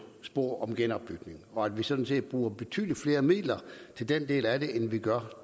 spor med genopbygning og at vi sådan set bruger betydelig flere midler til den del af det end vi gør